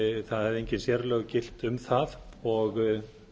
það höfðu engin sérlög gilt um það og